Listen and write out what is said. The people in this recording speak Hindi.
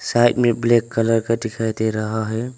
साइड में ब्लैक कलर का दिखाई दे रहा है।